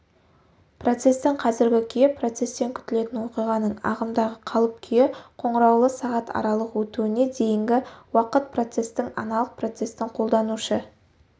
процестің қазіргі күйі процестен күтілетін оқиғаның ағымдағы қалып-күйі қоңыраулы сағат аралық өтуіне дейінгі уақыт процестің аналық процестің қолданушы